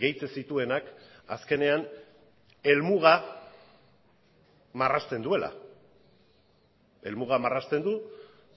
gehitzen zituenak azkenean helmuga marrazten duela helmuga marrazten du